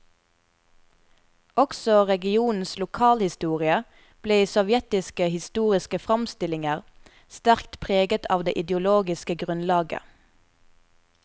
Også regionens lokalhistorie ble i sovjetiske historiske framstillinger sterkt preget av det ideologiske grunnlaget.